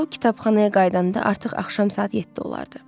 O kitabxanaya qayıdanda artıq axşam saat yeddi olardı.